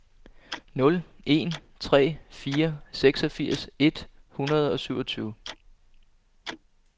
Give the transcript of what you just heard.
nul en tre fire seksogfirs et hundrede og syvogtyve